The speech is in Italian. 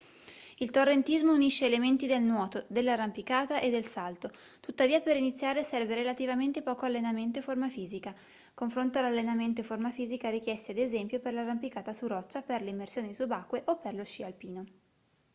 il torrentismo unisce elementi del nuoto dell'arrampicata e del salto; tuttavia per iniziare serve relativamente poco allenamento e forma fisica oonfronto all'allenamento e forma fisica richiesti ad esempio per l'arrampicata su roccia per le immersioni subacquee o per lo sci alpino